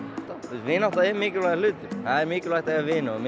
vinátta er mikilvægur hlutur það er mikilvægt að eiga vini og